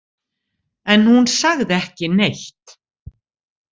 En hún sagði ekki neitt.